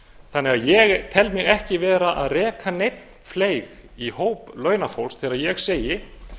þannig að ég tel mig ekki vera að reka neinn fleyg í hóp launafólks þegar ég segi